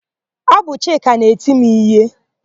Ọ bụ Chika na-eti m íhé.